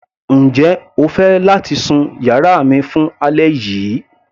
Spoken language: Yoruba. Njẹ́ o fẹ́ láti sun yàrá mi fún alẹ́ yìí.